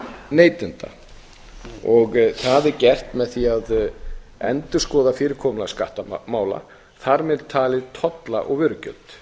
neytenda það er gert með því að endurskoða fyrirkomulag skattamála þar með talin tolla og vörugjöld